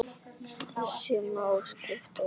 Þessu má skipta í þrennt.